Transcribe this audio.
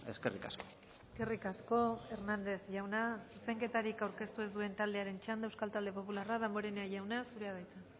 eskerrik asko eskerrik asko hernández jauna zuzenketarik aurkeztu ez duen taldearen txanda euskal talde popularra damborenea jauna zurea da hitza